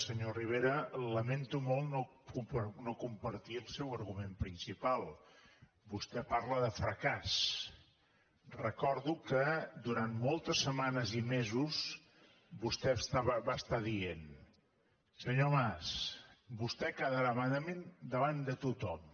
senyor rivera lamento molt no compartir el seu argument principal vostè parla de fracàs recordo que durant moltes setmanes i mesos vostè va estar dient senyor mas vostè quedarà malament davant de tothom